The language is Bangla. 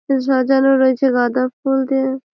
এ- সাজানো রয়েছে গাঁদা ফুল দিয়ে ।